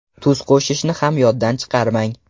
Tuz qo‘shishni ham yoddan chiqarmang.